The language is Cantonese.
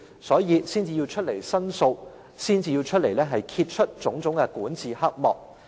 所以，他們才要出來申訴，揭穿種種管治黑幕。